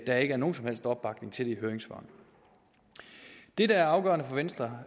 der ikke er nogen som helst opbakning til det i høringssvarene det der er afgørende for venstre